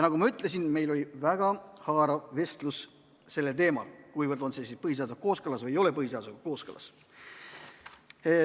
Nagu ma ütlesin, meil oli väga haarav vestlus sellel teemal, kuivõrd on see põhiseadusega kooskõlas või ei ole põhiseadusega kooskõlas.